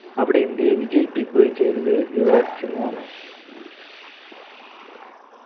അവിടെ ഇന്ത്യയെ വിജയിപ്പിക്കുകയും ചെയ്തത് യുവരാജ് സിംഗ് ആണ്